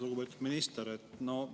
Lugupeetud minister!